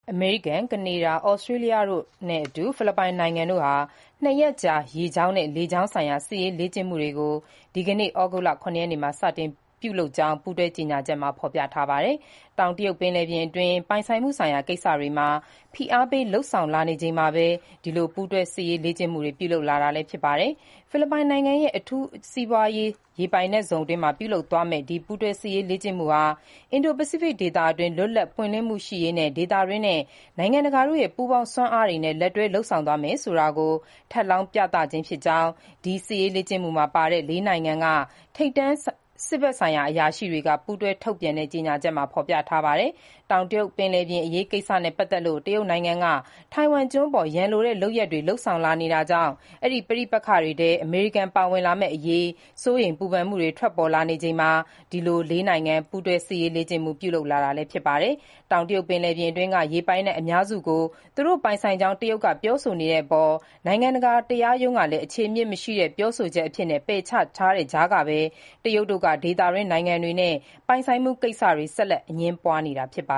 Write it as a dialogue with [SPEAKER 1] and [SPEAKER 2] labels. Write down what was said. [SPEAKER 1] အမေရိကန်၊ ကနေဒါ၊ ဩစတြေးလျတို့နဲ့အတူ ဖိလစ်ပိုင်နိုင်ငံက ၂ ရက်ကြာ ရေကြောင်းနဲ့ လေကြာင်းဆိုင်ရာ စစ်ရေးလေ့ကျင့်မှုတွေ ဒီကနေ့ ဩဂုတ်လ ၇ ရက်နေ့မှာ စတင်ပြုလုပ်ကြောင်း ပူးတွဲ ကြေညာချက်မှာ ဖော်ပြထားပါတယ်။ တောင်တရုတ်ပင်လယ်ပြင်အတွင်း ပိုင်ဆိုင်မှုဆိုင်ရာ ကိစ္စတွေမှာ ဖိအားပေး လုပ်ဆောင်လာနေချိန်မှာဘဲ ဒီ ပူးတွဲ စစ်ရေးလေ့ကျင့်မှု ပြုလုပ်တာ ဖြစ်ပါတယ်။ ဖိလစ်ပိုင်နိုင်ငံရဲ့ အထူးစီးပွားရေး ရေပိုင်နက်ဇုံအတွင်းမှာ ပြုလုပ်သွားမယ့် ဒီ ပူးတွဲ စစ်ရေးလေ့ကျင့်မှုဟာ အင်ဒို-ပစိဖိတ် ဒေသအတွင်း လွတ်လပ် ပွင့်လင်းမှုရှိရေး ဒေသတွင်းနဲ့ နိုင်ငံတကာတို့ရဲ့ ပူးပေါင်း စွမ်းအားတွေနဲ့ လက်တွဲ လုပ်ဆောင်သွားမယ်ဆိုတာကို ထပ်လောင်း ပြသခြင်းဖြစ်ကြောင်း ဒီ စစ်ရေးလေ့ကျင့်မှုမှာ ပါဝင်တဲ့ ၄ နိုင်ငံက ထိပ်တန်း စစ်ဘက်အရာရှိတွေ ပူးတွဲ ထုတ်ပြန်တဲ့ ကြေညာချက်မှာ ဖော်ပြထားပါတယ်။ တောင်တရုတ်ပင်လယ်ပြင်အရေးကိစ္စနဲ့ပတ်သက်လို့ တရုတ်နိုင်ငံက ထိုင်ဝမ်ကျွန်းအပေါ် ရန်လိုတဲ့လုပ်ရပ်တွေ လုပ်ဆောင်လာနေတာကြောင့် အဲဒီ ပဋိပက္ခထဲ အမေရိကန်ပါ ပါဝင်လာမယ့်အရေး စိုးရိမ်မှုတွေ ထွက်ပေါ်လာနေချိန်မှာ ဒီ ၄ နိုင်ငံ ပူးတွဲ စစ်ရေးလေ့ကျင့်မှု ပြုလုပ်တာလည်း ဖြစ်ပါတယ်။ တောင်တရုတ်ပင်လယ်ပြင်အတွင်းက ရေပိုင်နက် အများစုကို သူတို့ပိုင်ဆိုင်ကြောင်း တရုတ်တို့က ပြောဆိုနေတဲ့အပေါ် နိုင်ငံတကာခုံရုံးက အခြေအမြစ်မရှိတဲ့ ပြောဆိုချက်အဖြစ်နဲ့ ပယ်ချထားတဲ့ကြားကဘဲ တရုတ်တို့က ဒေသတွင်းနိုင်ငံတွေနဲ့ ပိုင်ဆိုင်မှုကိစ္စ ဆက်လက် အငြင်းပွားနေတာပါ